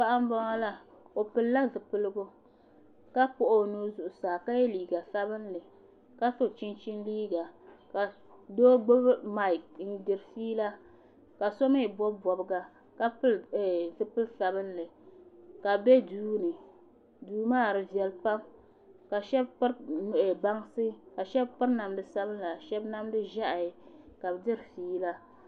Paɣa n boŋo la o pilila zipiligu ka kpuɣi o nuu zuɣusaa ka yɛ liiga sabinli ka so chichin liiga ka doo gbubi maik n diri fiila ka so mii gbubi bobga ka pili zipili sabinli ka bi bɛ duu ni duu maa di viɛli pam ka shab piri bansi ka shab piri namdi sabila shab namdi ʒiɛhi ka bi diri fiila